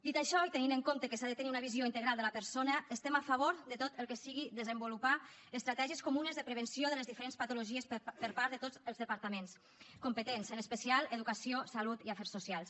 dit això i tenint en compte que s’ha de tenir una visió integral de la persona estem a favor de tot el que sigui desenvolupar estratègies comunes de prevenció de les diferents patologies per part de tots els departaments competents en especial educació salut i afers socials